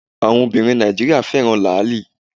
Àwọn Obìnrin Nàìjíríà fẹ́ràn Làálì